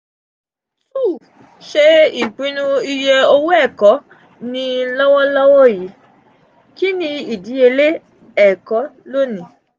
cs] two ṣe ipinnu iye owo ẹkọ ni lọwọlọwọ yi; kini idiyele: ẹkọ loni?